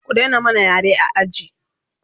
ku Daina mana yare a aji!